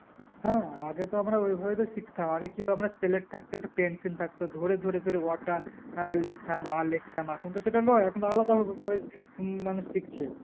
হ্যাঁ আগে তো আমরা ওই ভাবেই তো শিখতাম আগে কি হসেলেট থাকতো একটা pencil থাকতো ধরে ধরে ধরে অ টা আহ লিখতাম আ লেখতাম এখন তো সেটা লয় এখন তো আলাদা মানুষ শিখতাম